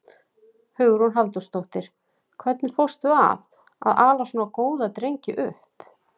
Hugrún Halldórsdóttir: Hvernig fórstu að því að, að ala svona góða drengi upp?